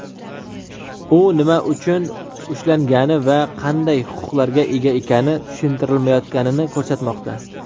u nima uchun ushlangani va qanday huquqlarga ega ekani tushuntirilmayotganini ko‘rsatmoqda.